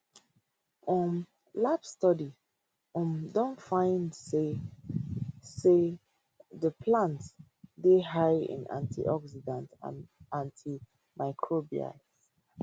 um lab studies um don find say find say di plants dey high in antioxidants and antimicrobials